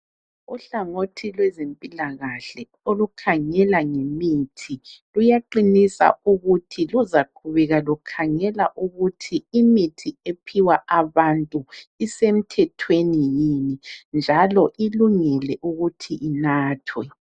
Uhlangothi lwezempilakahle olukhangela ngemithi, luyaqinisa ukuthi luzaqhubeka lukhangela ukuthi imithi ephiwa abantu isemthethweni yini njalo ilungile ukuthi inathwe.